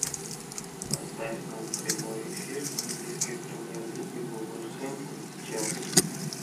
поставь нам прямой эфир английской премьер лиги вулверхэмптон с челси